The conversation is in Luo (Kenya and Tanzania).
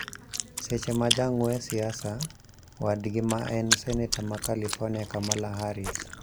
Seche ma jang`we siasa wadgi ma en seneta ma California Kamala Haris